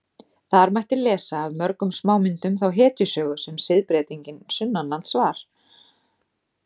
Þar mætti lesa af mörgum smámyndum þá hetjusögu sem siðbreytingin sunnanlands var.